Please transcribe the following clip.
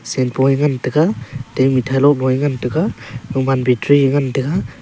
shenpo ye ngantaga te mithai loboye ngantaga gaman battery ye ngantaga.